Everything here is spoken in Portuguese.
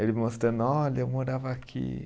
Ele mostrando, olha, eu morava aqui.